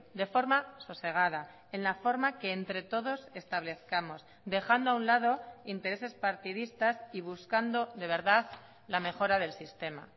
de forma sosegada en la forma que entre todos establezcamos dejando a un lado intereses partidistas y buscando de verdad la mejora del sistema